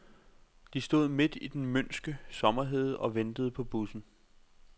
De stod midt i den mønske sommerhede og ventede på bussen.